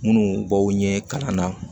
Minnu b'aw ɲɛ kalan na